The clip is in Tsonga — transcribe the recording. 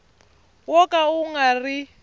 wo ka wu nga ri